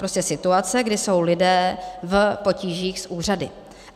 Prostě situace, kdy jsou lidé v potížích s úřady.